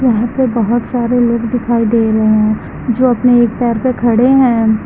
यहां पे बहोत सारे लोग दिखाई दे रहे हैं जो अपने एक पैर पे खड़े हैं।